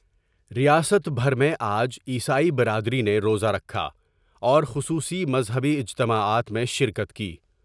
ریاست بھر میں آج عیسائی برادری نے روزہ رکھا اور خصوصی مذہبی اجتماعات میں شرکت کی ۔